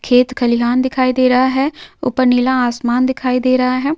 खेत खलिहान दिखाई दे रहा है ऊपर नीला आसमान दिखाई दे रहा है।